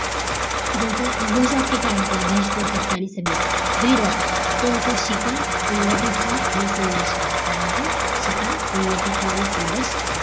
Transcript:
यांचं घोष वाक्य काय होत या बहिष्कृत हितकारी सभेचं ब्रीद वाक्य ते होत शिका संघटित व्हा आणि संघर्ष करा काय होत शिका संघटित व्हा आणि संघर्ष करा